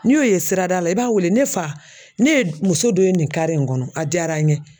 N'i y'o ye sirada la i b'a wele ne fa ne ye muso dɔ ye nin in kɔnɔ a diyara n ye